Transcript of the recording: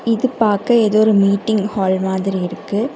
இது பாக்க எதோ ஒரு மீட்டிங் ஹால் மாதிரி இருக்கு.